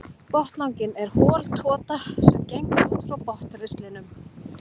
Botnlanginn er hol tota sem gengur út frá botnristlinum.